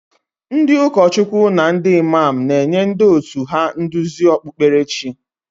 Ndị ụkọchukwu na ndị Imam na-enye ndị òtù ha nduzi okpukperechi.